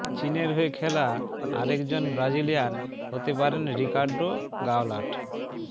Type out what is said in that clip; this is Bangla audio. চীনের হয়ে খেলা আরেকজন ব্রাজিলিয়ান হতে পারেন রকিার্ডো গওলার্ট